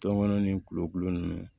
Tɔmɔnɔ ni kulokulu nunnu